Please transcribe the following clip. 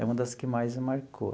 É uma das que mais me marcou.